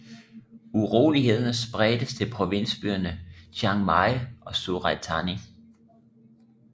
Urolighederne spredtes til provinsbyerne Chiang Mai og Surat Thani